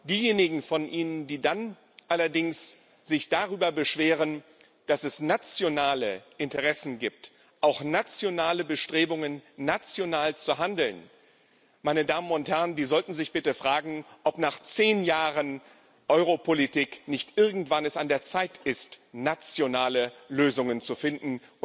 Diejenigen von Ihnen, die sich dann allerdings darüber beschweren, dass es nationale Interessen gibt, auch nationale Bestrebungen, national zu handeln, die sollten sich bitte fragen, ob es nach zehn Jahren Europolitik nicht irgendwann an der Zeit ist, nationale Lösungen zu finden.